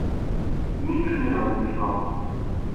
Nič ni razmišljal.